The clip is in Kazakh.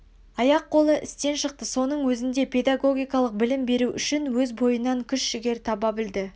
аяқ қолы істен шықты соның өзінде педагогикалық білім беру үшін өз бойынан күш жігер таба білді